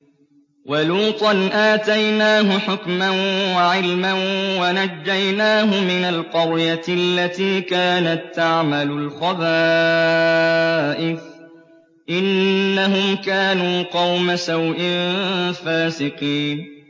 وَلُوطًا آتَيْنَاهُ حُكْمًا وَعِلْمًا وَنَجَّيْنَاهُ مِنَ الْقَرْيَةِ الَّتِي كَانَت تَّعْمَلُ الْخَبَائِثَ ۗ إِنَّهُمْ كَانُوا قَوْمَ سَوْءٍ فَاسِقِينَ